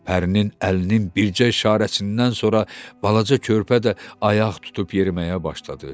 Pərinin əlinin bircə işarəsindən sonra balaca körpə də ayaq tutub yeriməyə başladı.